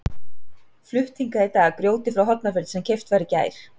Flutt hingað í dag grjótið frá Hornafirði sem keypt var í gær.